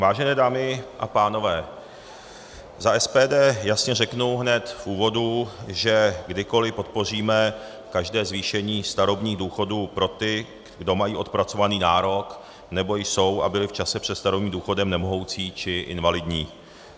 Vážená dámy a pánové, za SPD jasně řeknu hned v úvodu, že kdykoliv podpoříme každé zvýšení starobních důchodů pro ty, kdo mají odpracovaný nárok nebo jsou a byli v čase před starobním důchodem nemohoucí či invalidní.